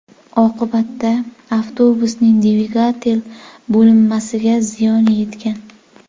Oqibatda avtobusning dvigatel bo‘linmasiga ziyon yetgan.